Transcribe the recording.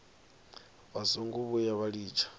vha songo vhuya vha litsha